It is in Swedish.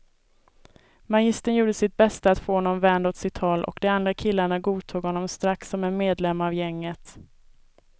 Magistern gjorde sitt bästa att få honom vänd åt sitt håll och de andra killarna godtog honom strax som en medlem av gänget.